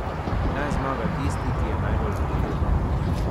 Naj zmaga tisti, ki je najbolj priljubljen.